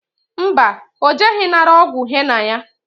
Mba, o jeghi nara ogwu henna ya